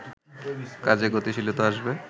কাজে গতিশীলতা আসবে